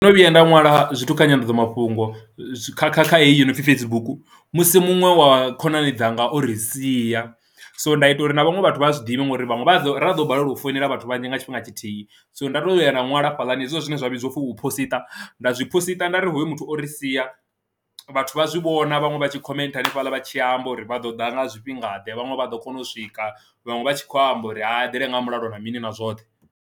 Ndo no vhuya nda ṅwala zwithu kha nyandadzamafhungo kha kha kha heyi yo no pfhi Facebook musi muṅwe wa khonani dzanga o ri sia so nda ita uri na vhaṅwe vhathu vha zwiḓivhe ngori vhanwe vha ḓo ri ḓo balelwa u foinela vhathu vhanzhi nga tshifhinga tshithihi, so nda to vhuya nda nwala hafhaḽani hezwo zwine zwa vhidziwa upfi hu posiṱa nda zwi posiṱa nda ri hoyo muthu ori sia vhathu vha zwi vhona vhaṅwe vha tshi khomentha hanefhaḽa vha tshi amba uri vha ḓo ḓa nga zwifhingaḓe vhanwe vha ḓo kona u swika vhaṅwe vha tshi khou amba uri ha dela nga mulalo na mini na zwoṱhe.